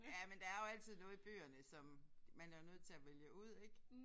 Ja men der er jo altid noget i bøgerne som man er jo nødt til at vælge ud ik